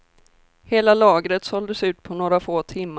Hela lagret såldes ut på några få timmar.